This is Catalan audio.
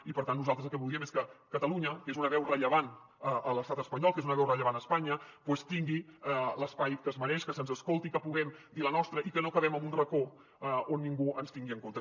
i per tant nosaltres el que voldríem és que catalunya que és una veu rellevant a l’estat espanyol que és una veu rellevant a espanya doncs tingui l’espai que es mereix que se’ns escolti que puguem dir la nostra i que no quedem en un racó on ningú ens tingui en compte